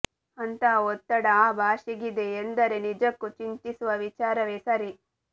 ಅಂತಹ ಒತ್ತಡ ಆ ಭಾಷೆಗಿದೆ ಎಂದರೆ ನಿಜಕ್ಕೂ ಚಿಂತಿಸುವ ವಿಚಾರವೆ ಸರಿ